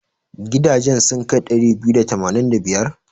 Gidajen sun kai ɗari biyu da tamanin da biyar?